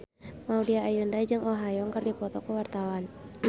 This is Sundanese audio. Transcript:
Maudy Ayunda jeung Oh Ha Young keur dipoto ku wartawan